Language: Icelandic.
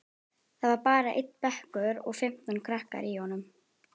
Það var bara einn bekkur og fimmtán krakkar í honum.